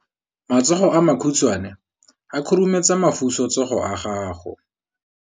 Matsogo a makhutshwane a khurumetsa masufutsogo a gago.